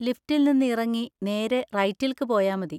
ലിഫ്റ്റിൽന്ന് ഇറങ്ങി നേരെ റൈറ്റിൽക്ക് പോയാ മതി.